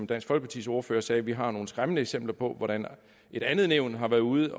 dansk folkepartis ordfører som sagde at vi har nogle skræmmende eksempler på hvordan et andet nævn har været ude